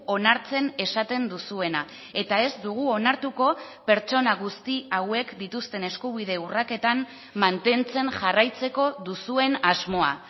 onartzen esaten duzuena eta ez dugu onartuko pertsona guzti hauek dituzten eskubide urraketan mantentzen jarraitzeko duzuen asmoa